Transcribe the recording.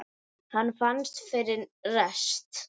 Hann fannst fyrir rest!